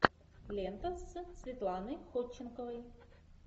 лента с светланой ходченковой